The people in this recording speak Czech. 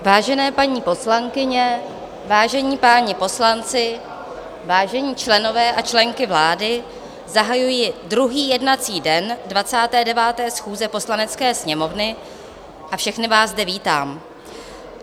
Vážené paní poslankyně, vážení páni poslanci, vážení členové a členky vlády, zahajuji druhý jednací den 29. schůze Poslanecké sněmovny a všechny vás zde vítám.